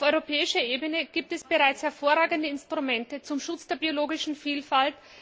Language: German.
Auf europäischer Ebene gibt es bereits hervorragende Instrumente zum Schutz der biologischen Vielfalt.